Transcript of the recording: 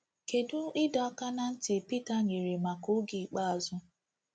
Kedu ịdọ aka ná ntị Pita nyere maka oge ikpeazụ?